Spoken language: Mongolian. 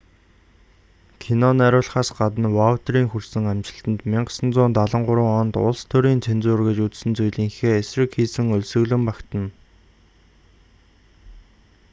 кино найруулахаас гадна ваутиерийн хүрсэн амжилтанд 1973 онд улс төрийн цензур гэж үзсэн зүйлийнхээ эсрэг хийсэн өлсгөлөн багтана